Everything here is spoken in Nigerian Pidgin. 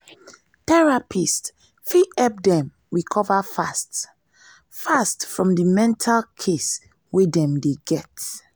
therapist fit help dem recover fast fast from di mental case wey dem dey get